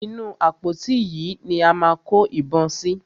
Inú àpótí yìí ni a máa kó ìbọn sí.